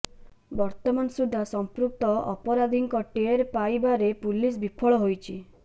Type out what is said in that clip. ବର୍ତ୍ତମାନ ସୁଦ୍ଧା ସମ୍ପୃକ୍ତ ଅପରାଧୀଙ୍କ ଟେର୍ ପାଇବାରେ ପୁଲିସ ବିଫଳ ହୋଇଛି